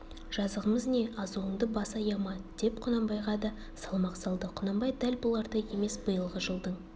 жазығымыз не азуыңды бас аяма деп құнанбайға да салмақ салды құнанбай дәл бұлардай емес биылғы жылдың